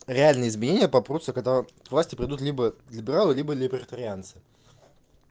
реальные изменения попрутся когда к власти придут либо либералы либо либертарианцы